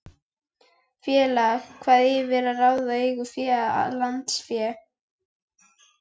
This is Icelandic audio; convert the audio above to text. Félag hefur yfir að ráða eigið fé og lánsfé.